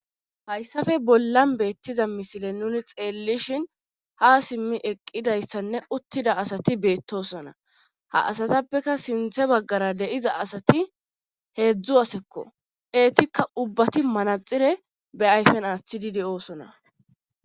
hayssafe bollan beettiza misile nuni xeellishin ha simmi eqqidayssanne uttida asati beettosona ha asatappeka sinthe baggara deiza asati heedzdzu asekko eetikka ubbati manaxire be ayfen aththididi oosona